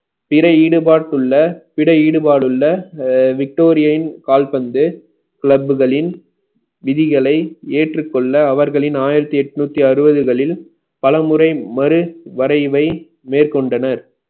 பிற ஈடுபாட்டுள்ள பிற ஈடுபாடுள்ள அ victorian கால்பந்து club களின் விதிகளை ஏற்றுக்கொள்ள அவர்களின் ஆயிரத்தி எட்நூத்தி அறுபதுகளில் பலமுறை மறு வரைவை மேற்கொண்டனர்